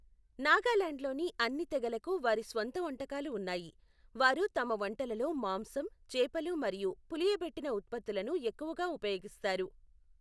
నాగాలాండ్లోని అన్ని తెగలకు వారి స్వంత వంటకాలు ఉన్నాయి, వారు తమ వంటలలో మాంసం, చేపలు మరియు పులియబెట్టిన ఉత్పత్తులను ఎక్కువగా ఉపయోగిస్తారు.